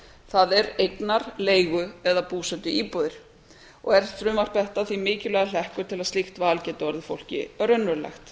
það er eignar leigu eða búsetuíbúðir er frumvarp þetta því mikilvægur hlekkur til að slíkt val geti orðið fólki raunverulegt